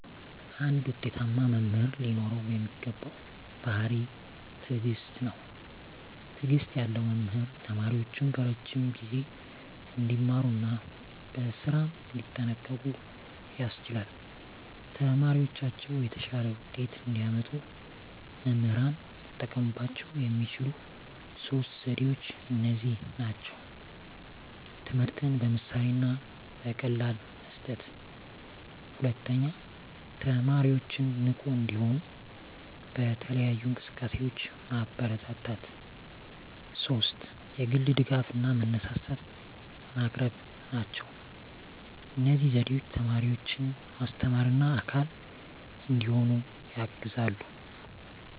አንድ ውጤታማ መምህር ሊኖረው የሚገባው ባሕርይ ትዕግስት ነው። ትዕግስት ያለው መምህር ተማሪዎቹን በረዥም ጊዜ እንዲማሩ እና በስራም እንዲጠንቀቁ ያስችላል። ተማሪዎቻቸው የተሻለ ውጤት እንዲያመጡ መምህራን ሊጠቀሙባቸው የሚችሉት ሦስት ዘዴዎች እነዚህ ናቸው፦ ትምህርትን በምሳሌ እና በቀላል መስጠት፣ 2) ተማሪዎችን ንቁ እንዲሆኑ በተለያዩ እንቅስቃሴዎች ማበረታታት፣ 3) የግል ድጋፍ እና መነሳሳት ማቅረብ ናቸው። እነዚህ ዘዴዎች ተማሪዎችን ማስተማርና አካል እንዲሆኑ ያግዛሉ።